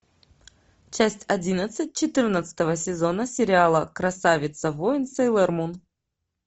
часть одиннадцать четырнадцатого сезона сериала красавица воин сейлор мун